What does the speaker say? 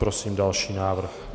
Prosím další návrh.